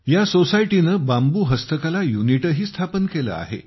या सोसायटीने बांबू हस्तकला युनिटही स्थापन केला आहे